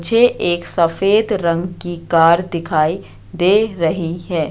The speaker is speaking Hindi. मुझे एक सफेद रंग की कार दिखाई दे रही है।